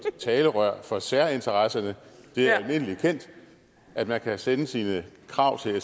talerør for særinteresserne det er almindelig kendt at man kan sende sine krav